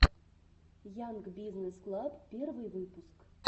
янг бизнесс клаб первый выпуск